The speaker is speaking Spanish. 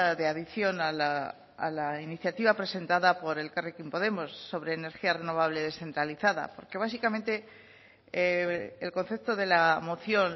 de adición a la iniciativa presentada por elkarrekin podemos sobre energía renovable descentralizada porque básicamente el concepto de la moción